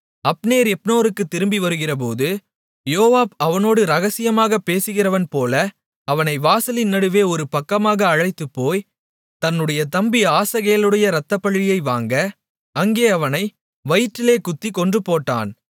Abner எப்ரோனுக்குத் திரும்பி வருகிறபோது யோவாப் அவனோடு இரகசியமாகப் பேசப்போகிறவன்போல அவனை வாசலின் நடுவே ஒரு பக்கமாக அழைத்துப்போய் தன்னுடைய தம்பி ஆசகேலுடைய இரத்தப்பழியை வாங்க அங்கே அவனை வயிற்றிலே குத்திக் கொன்றுபோட்டான்